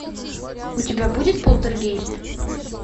у тебя будет полтергейст